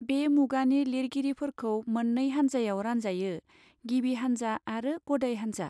बे मुगानि लिरगिरिफोरखो मन्नै हानजायाव रानजायो गिबि हानजा आरो गदाय हानजा.